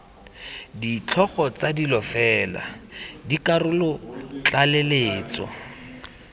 ditlhogo tsa dilo fela dikarolotlaleletso